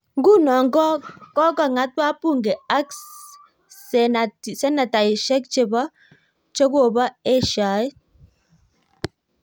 Nguno, kokong'at wabunge ak senataishiek che kobo eshaet.